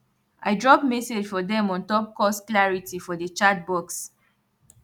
i drop message for dem on top course clarity for the chatbox